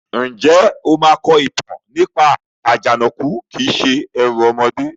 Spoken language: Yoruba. Ǹjẹ́ o máa kọ ìtàn nípa "Àjànàkú kìí se ẹrù ọmọdé"?